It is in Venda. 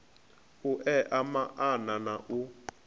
u ea maana na u